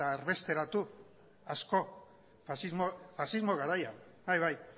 erbesteratu asko faxismo garaian bai